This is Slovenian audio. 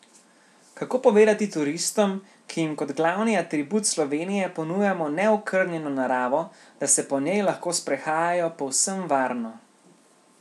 Kako povedati turistom, ki jim kot glavni atribut Slovenije ponujamo neokrnjeno naravo, da se po njej lahko sprehajajo povsem varno?